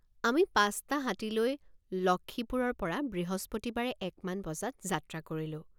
আমি পাঁচটা হাতী লৈ লক্ষ্মীপুৰৰপৰা বৃহস্পতিবাৰে এক মান বজাত যাত্ৰা কৰিলোঁ।